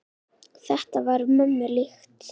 Þetta var mömmu líkt.